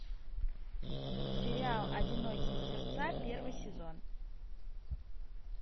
сериал одинокие сердца первый сезон